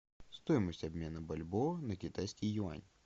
стоимость обмена бальбоа на китайский юань